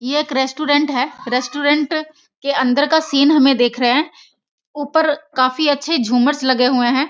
ये एक रेस्टोरेंट है रेस्टोरेंट के अंदर का सीन हमें दिख रहे है ऊपर काफी अच्छे झूमर्स लगे हुए हैं।